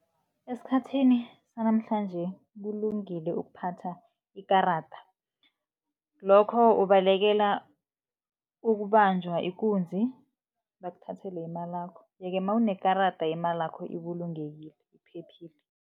Esikhathini sanamhlanje kulungile ukuphatha ikarada, lokho ubalekela ukubanjwa ikunzi, bakuthathele imalakho. Ye-ke nawunekarada imalakho ibulungekile iphephile.